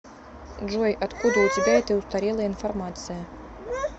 джой откуда у тебя эта устарелая информация